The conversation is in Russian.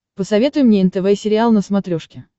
посоветуй мне нтв сериал на смотрешке